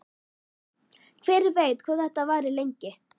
Hver veit hvað þetta varir lengi?